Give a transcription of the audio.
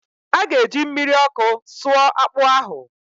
ọ ga-eji mmiri ọkụ sụọ akpụ ahụ